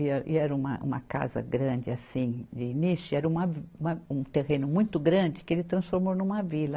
E é, e era uma, uma casa grande assim, de início, e era uma vi, uma, um terreno muito grande que ele transformou numa vila.